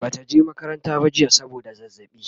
Bata je makaranta ba jiya saboda zazzaɓi